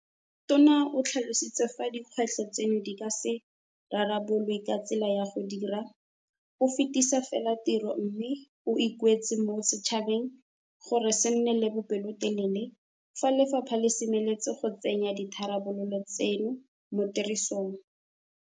Tona o tlhalositse fa dikgwetlho tseno di ka se rarabololwe ka tsela ya go dira o fetisa fela tiro mme o ikuetse mo setšhabeng gore se nne le bopelotelele fa lefapha le semeletse go tsenya ditharabololo tseno mo tirisong.